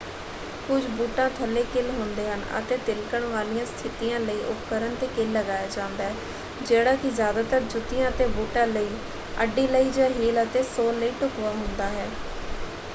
ਕੁਝ ਬੂਟਾਂ ਥੱਲੇ ਕਿੱਲ ਹੁੰਦੇ ਹਨ ਅਤੇ ਤਿਲਕਣ ਵਾਲੀਆਂ ਸਥਿਤੀਆਂ ਲਈ ਉਪਕਰਣ 'ਤੇ ਕਿੱਲ ਲਗਾਇਆ ਜਾਂਦਾ ਹੈ ਜਿਹੜਾ ਕਿ ਜ਼ਿਆਦਾਤਰ ਜੁੱਤੀਆਂ ਅਤੇ ਬੂਟਾਂ ਲਈ ਅੱਡੀ ਲਈ ਜਾਂ ਹੀਲ ਅਤੇ ਸੋਲ ਲਈ ਢੁਕਵਾਂ ਹੁੰਦਾ ਹੈ।